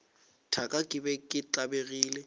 thaka ke be ke tlabegile